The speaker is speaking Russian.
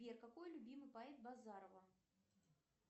сбер какой любимый поэт базарова